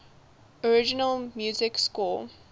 original music score